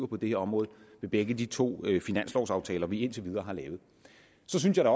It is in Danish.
det her område i begge de to finanslovaftaler vi indtil videre har lavet så synes jeg